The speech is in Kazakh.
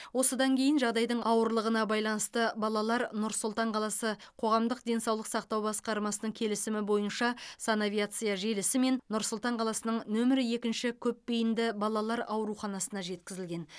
осыдан кейін жағдайдың ауырлығына байланысты балалар нұр сұлтан қаласы қоғамдық денсаулық сақтау басқармасының келісімі бойынша санавиация желісімен нұр сұлтан қаласының нөмірі екінші көпбейінді балалар ауруханасына жеткізілген